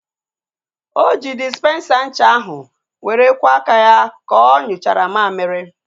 O ji dịsipensa ncha ahu were kwọ aka ya ka onyuchara mmamịrị